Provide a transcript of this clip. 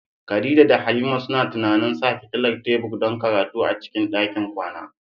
Khadija da Halima suna tunanin sa fitilar tebur don karatu a cikin ɗakin kwana.